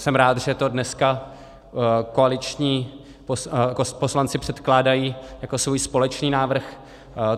Jsem rád, že to dneska koaliční poslanci předkládají jako svůj společný návrh.